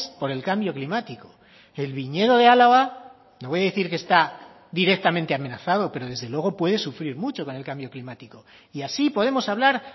por el cambio climático el viñedo de álava no voy a decir que está directamente amenazado pero desde luego puede sufrir mucho con el cambio climático y así podemos hablar